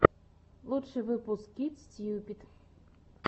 лучший выпуск кит стьюпид